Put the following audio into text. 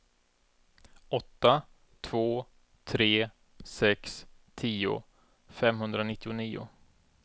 åtta två tre sex tio femhundranittionio